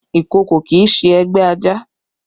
Ìkòkò kì í ṣe ẹgbẹ́ ajá